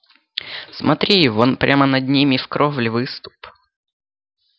смотри вон прямо над ними в кровле выступ